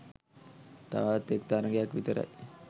තවත් එක් තරගයක් විතරයි